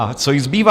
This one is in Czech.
A co jí zbývá?